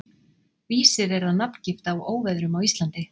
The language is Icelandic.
Vísir er að nafngift á óveðrum á Íslandi.